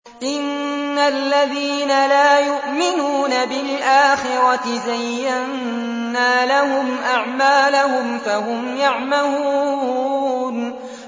إِنَّ الَّذِينَ لَا يُؤْمِنُونَ بِالْآخِرَةِ زَيَّنَّا لَهُمْ أَعْمَالَهُمْ فَهُمْ يَعْمَهُونَ